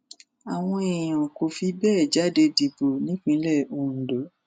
àwọn èèyàn kò fi bẹẹ jáde dìbò nípínlẹ ondo